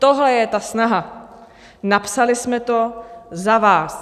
Tohle je ta snaha, napsali jsme to za vás.